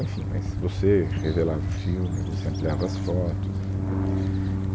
Enfim, mas você revelava o filme, você ampliava as fotos, entendeu? E